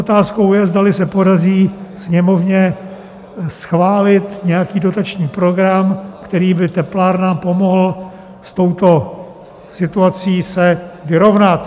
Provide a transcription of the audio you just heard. Otázkou je, zdali se podaří Sněmovně schválit nějaký dotační program, který by teplárnám pomohl s touto situací se vyrovnat.